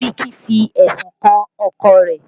Biliki fi ẹ̀sùn kan ọkọ rẹ̀